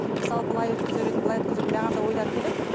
мысалы былай өткізер едім былай өткізер едім маған да ойлар келеді